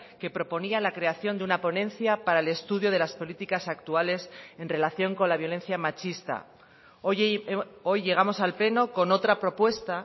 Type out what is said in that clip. que proponía la creación de una ponencia para el estudio de las políticas actuales en relación con la violencia machista hoy llegamos al pleno con otra propuesta